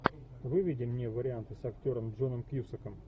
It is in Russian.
выведи мне варианты с актером джоном кьюсаком